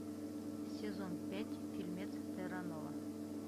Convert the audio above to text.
сезон пять фильмец терранова